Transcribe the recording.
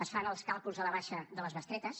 es fan els càlculs a la baixa de les bestretes